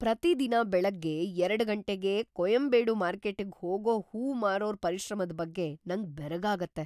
ಪ್ರತಿದಿನ ಬೆಳಗ್ಗೆ ಎರಡು ಗಂಟೆಗೇ ಕೊಯಂಬೇಡು ಮಾರ್ಕೆಟ್ಟಿಗ್ ಹೋಗೋ ಹೂವ್‌ ಮಾರೋರ್‌ ಪರಿಶ್ರಮದ್‌ ಬಗ್ಗೆ ನಂಗ್‌ ಬೆರಗಾಗತ್ತೆ.